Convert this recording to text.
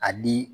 A di